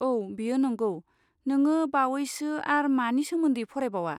औ, बेयो नंगौ, नोंङो बावैसो आर मानि सोमोन्दै फरायबावा?